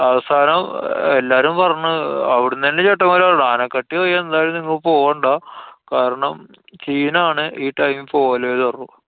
അവസാനം എല്ലാരും പറഞ്ഞു, അവുട്ന്നന്നെ ചേട്ടന്മാര് പറഞ്ഞു ആനക്കട്ടി വഴി എന്തായാലും നിങ്ങള് പോണ്ടാ. കാരണം scene ആണ്. ഈ time ല് പോവല്ലേന്ന് പറഞ്ഞു.